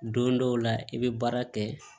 Don dɔw la i bɛ baara kɛ